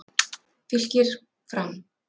Fylkir- Fram